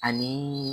Ani